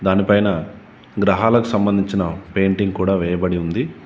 దాని పైన గ్రహాలకు సంబంధించిన పెయింటింగ్ కూడా వేయబడి ఉంది.